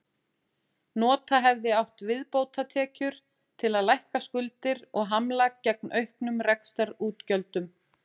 Nota hefði átt viðbótartekjur til að lækka skuldir og hamla gegn auknum rekstrarútgjöldum.